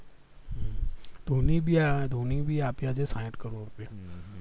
ધોની ભી આવ્યા ધોની એ ભી આપ્યા છે સાઈઠ કરોડ રૂપિયા